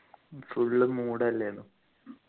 full mood അല്ലെനു